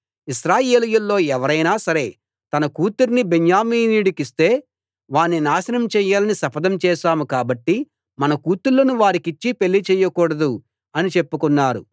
ఇశ్రాయేలీయుల్లో ఎవరైనా సరే తన కూతుర్ని బెన్యామీనీయుడికి ఇస్తే వాణ్ణి నాశనం చేయాలని శపథం చేశాం కాబట్టి మన కూతుళ్ళను వారికిచ్చి పెళ్ళి చేయకూడదు అని చెప్పుకున్నారు